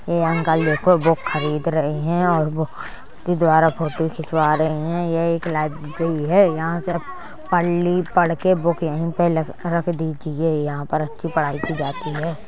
यओ uncle एक और book खरीद रहे है और बुक के द्वारा फोटो खिचवा रहे है ये एक लाइब्रेरी है | यहाँ से के बुक यही पे लख दीजिये | यहाँ पर अच्छी पढ़ाई की जाती है ।